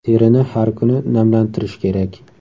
Terini har kuni namlantirish kerak.